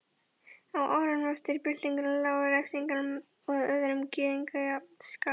Á árunum eftir byltingu lágu refsingar að lögum við gyðingafjandskap.